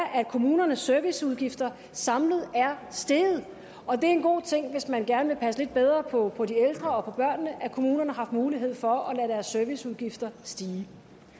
at kommunernes serviceudgifter samlet er steget og det er en god ting hvis man gerne vil passe lidt bedre på på de ældre og på børnene at kommunerne har haft mulighed for at lade deres serviceudgifter stige